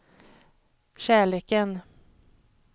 kärleken